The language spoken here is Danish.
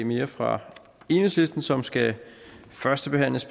mere fra enhedslisten som skal førstebehandles